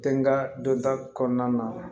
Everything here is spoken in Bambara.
Den ka dɔnta kɔnɔna na